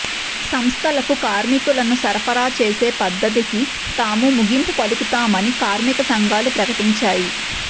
సంస్థలకు కార్మికులను సరఫరా చేసే పద్దతికి తాము ముగింపు పలుకుతామని కార్మిక సంఘాలు ప్రకటించాయి